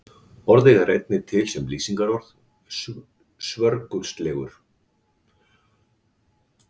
Orðið er einnig til sem lýsingarorð, svörgulslegur.